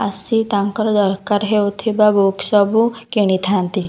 ଆସି ତାଙ୍କର ଦରକାର ହେଉଥିବା ବୁକ୍ ସବୁ କିଣି ଥାନ୍ତି ।